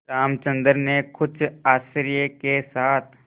रामचंद्र ने कुछ आश्चर्य के साथ